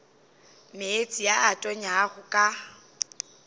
meetse a a tonyago ka